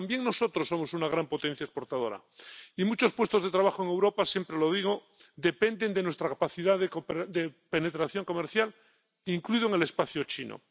pero también nosotros somos una gran potencia exportadora, y muchos puestos de trabajo en Europa —siempre lo digo— dependen de nuestra capacidad de penetración comercial, incluso en el espacio chino.